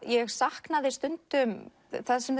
ég saknaði stundum það sem